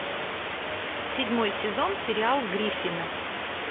седьмой сезон сериал гриффины